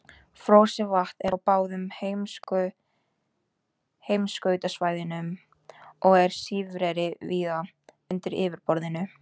Frosið vatn er á báðum heimskautasvæðunum og er sífreri víða undir yfirborðinu.